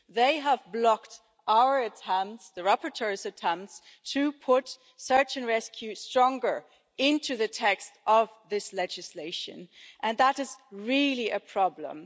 They have blocked the rapporteur's attempts to put search and rescue more strongly into the text of this legislation, and that is really a problem.